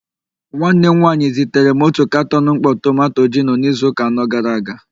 Nwanne m nwanyị zitere m otu katọn mkpọ tomanto gino n'izuụka anọ gara aga.